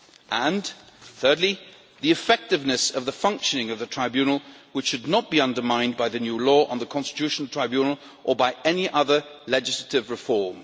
and, thirdly, the effectiveness of the functioning of the Tribunal, which should not be undermined by the new law on the Constitutional Tribunal or by any other legislative reform.